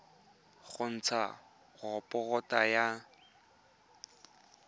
go ntsha raporoto ya radioloji